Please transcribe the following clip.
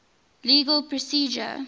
legal procedure